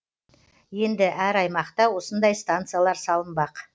енді әр аймақта осындай станциялар салынбақ